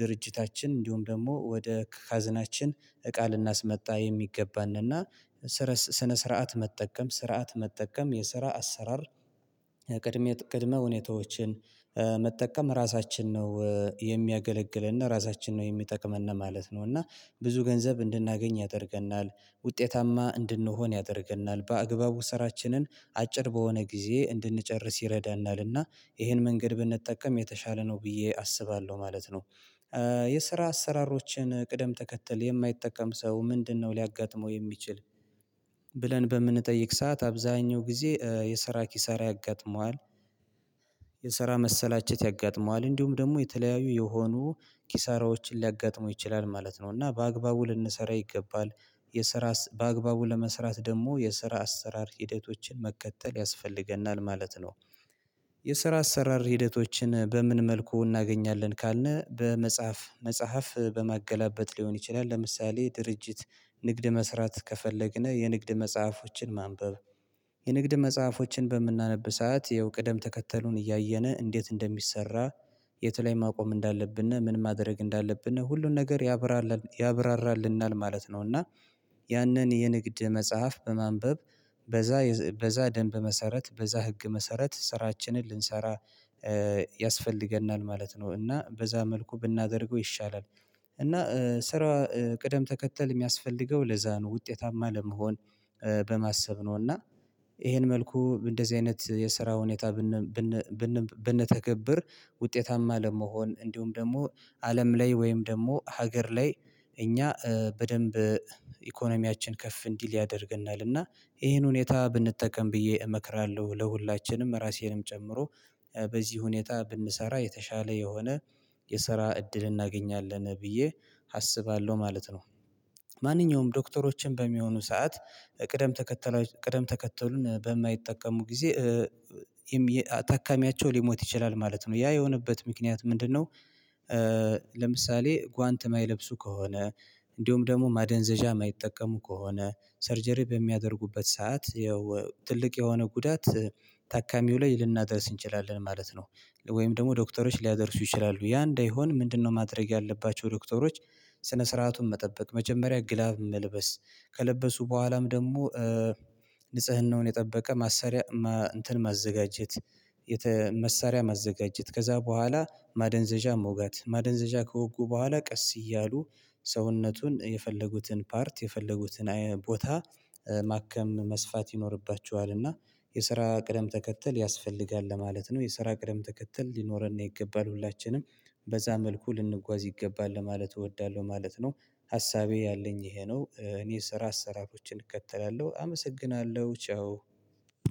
ድርጅታችን እንዲውም ደሞ ወደ ካዝናችን እቃ ልናስመጣ የሚገባንና። ስነ ስርዓት መጠቀም ስርዓት መጠቀም የስራ አሰራር ቅድመ ሁኔታዎችን መጠቀም ራሳችን ነው የሚያገለግልና ራሳችን ነው የሚጠቅመን ማለት ነው። እና ብዙ ገንዘብ እንድናገኝ ያደርገናል ውጤታማ እንድንሆን ያደርገናል። በአግባቡ ስራችንን አጭር በሆነ ጊዜ እንድንጨርስ ይረዳናልና። ይሄን መንገድ ብንጠቀም የተሻለ ነው ብዬ አስባለው ማለት ነው። የስራ አሰራሮችን ቅደም ተከተል የማይጠቀም ሰው ምንድነው ሊያጋጥመው የሚችል? ብለን በምንጠይቅ ሰዓት አብዛኛው ጊዜ የስራ ኪሳራ ያጋጥመዋል። የስራ መሰላቸት ያጋጥመዋል እንዲውም ደሞ የተለያዩ የሆኑ ኪሳራዎችን ሊያጋጥሙ ይችላል ማለት ነው። እና በአግባቡ ልንሰራ ይገባል። የስራ በአግባቡ ለመስራት ደሞ የስራ አሰራር ሂደቶችን መከተል ያስፈልገናል ማለት ነው። የስራ አሰራር ሂደቶችን በምን መልኩ እናገኛለን ካልን በመጽሐፍ መጽሐፍ በማገላበጥ ሊሆን ይችላል። ለምሳሌ ድርጅት ንግድ መስራት ከፈለግን የንግድ መጽሐፎችን ማንበብ። የንግድ መጽሐፎችን በምናነብ ሰዓት ያው ቅደም ተከተሉን እያየነ እንዴት እንደሚሰራ። የት ለይ ማቆም እንዳለብን ምን ማድረግ እንዳለብን ሁሉን ነገር ያብራራልናል ማለት ነው። እና ያንን የንግድ መጽሐፍ በማንበብ በዛ በዛ ደንብ መሰረት በዛ ህግ መሰረት ስራችንን ልንሰራ ያስፈልገናል ማለት ነው። እና በዛ መልኩ ብናደርገው ይሻላል። እና ስራ ቅደም ተከተል የሚያስፈልገው ለዛ ነው። ውጤታማ ለመሆን በማሰብ ነው። እና ይሄን መልኩ እንደዚ አይነት የስራ ሁኔታ ብንተገብር ውጤታማ ለመሆን እንዲውም ደሞ አለም ላይ ወይም ደሞ ሀገር ላይ እኛ በደንብ ኢኮኖሚያችን ከፍ እንዲል ያደርገናል። እና ይሄን ሁኔታ ብንጠቀም ብዬ እመክራለው። ለሁላችንም ራሴንም ጨምሮ በዚ ሁኔታ ብንሰራ የተሻለ የሆነ የስራ እድል እናገኛለን ብዬ አስባለው ማለት ነው። ማንኛውም ዶክተሮችም በሚሆኑ ሰዓት ቅደም ተከተሉን በማይጠቀሙ ጊዜ ታካሚያቸው ሊሞት ይችላል። ማለት ነው ያ የሆነበት ምክንያት ምንድነው? ለምሳሌ ጓንት ማይለብሱ ከሆነ እንዲውም ደሞ ማደንዘዣ ማይጠቀሙ ከሆነ ሰርጀሪ በሚያደርጉበት ሰዓት ያው ትልቅ የሆነ ጉዳት ታካሚው ላይ ልናደርስ እንችላለን። ማለት ነው። ወይም ደሞ ዶክተሮች ሊያደርሱ ይችላሉ ያ እንዳይሆን ምንድነው ማድረግ ያለባቸው? ዶክተሮች ስነ ስርዓቱን መጠበቅ መጀመሪያ ግላብ መልበስ ከለበሱ በኋላም ደሞ ንጽህናውን የጠበቀ ማሰሪያ እንትን ማዘጋጀት። መሳሪያ ማዘጋጀት ከዛ በኋላ ማደንዘዣ መውጋት ማደንዘዣ ከወጉ በኋላ ቀስ እያሉ ሰውነቱን የፈለጉትን ፓርት የፈለጉትን ቦታ ማከም መስፋት ይኖርባችዋል። እና የስራ ቅደም ተከተል ያስፈልጋል ለማለት ነው። የስራ ቅደም ተከተል ሊኖረን ይገባል ሁላችንም በዛ መልኩ ልንጓዝ ይገባል ለማለት እወዳለው ማለት ነው። ሀሳቤ ያለኝ ይሄ ነው። እኔ ስራ ስራቶችን እከተላለው አመሰግናለው ቻው።